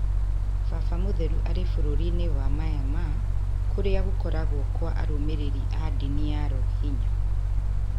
Baba mũtheru arĩ bũrũri-inĩ wa Myanmar, kũrĩa kũragwo kwa arũmĩrĩri a ndini ya Rohingya